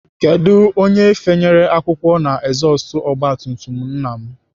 Kedụ onye fanyere akwụkwọ na ezọstụ ogbatumtum nna m?